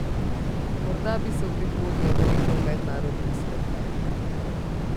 Morda bi se v prihodnje odrekel mednarodnim spektaklom.